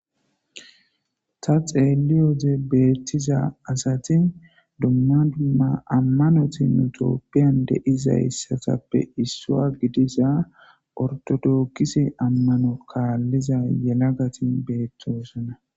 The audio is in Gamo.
Ta xeelin betiza sati dumma dumma amanoti nu tophiyan de'izasatappe issa gidiza orthodokise (ortodox)amano kaliza yelagati betosona.